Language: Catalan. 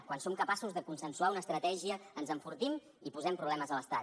quan som capaços de consensuar una estratègia ens enfortim i posem problemes a l’estat